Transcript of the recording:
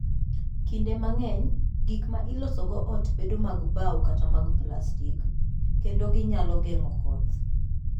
Kinde mang'eny, gik ma ilosogo ot bedo mag bao kata mag plastik, kendo ginyal geng'o koth.